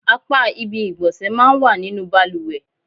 Apá ibi ìgbọ̀nsẹ̀ máa ń wà nínú bàlùwẹ̀.